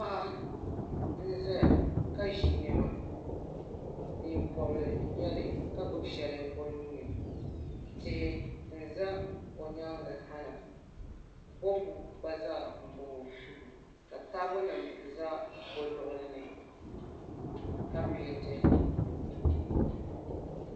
Paɣa n ʒɛya ka ʒi niɛma neen bobli n nyɛli ka gbubi shɛli o nuuni tihi n ʒɛ o nyaangi sa la bopu gba zaa n boŋo ka taabo nim ʒɛ o luɣuli ni ka peenti